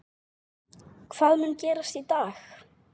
Hvað mun gerast í dag?